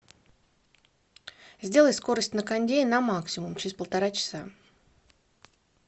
сделай скорость на кондее на максимум через полтора часа